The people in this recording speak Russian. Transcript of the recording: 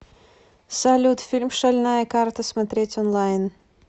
салют фильм шальная карта смотреть онлайн